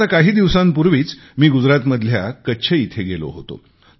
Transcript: आता काही दिवसांपूर्वीच मी गुजरातमधल्या कच्छ येथे गेलो होतो